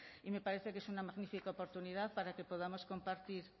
y me parece que es una magnífica oportunidad para que podamos compartir